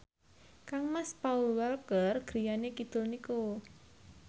kangmas Paul Walker griyane kidul niku